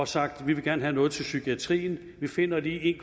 sagt vi vil gerne have noget til psykiatrien vi finder lige en